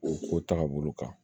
O ko taga bolo kan